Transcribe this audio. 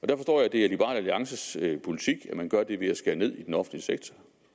er liberal alliances politik at man gør det ved at skære ned i den offentlige sektor en